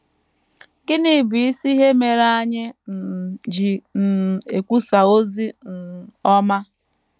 Gịnị bụ isi ihe mere anyị um ji um ekwusa ozi um ọma?